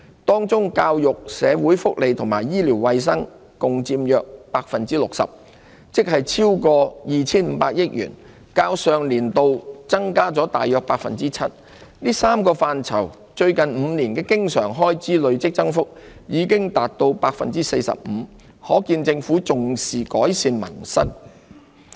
當中教育、社會福利和醫療衞生共佔約 60%， 即超過 2,500 億元，較上年度增加約 7%， 這3個範疇最近5年的經常開支累積增幅已達 45%， 可見政府重視改善民生。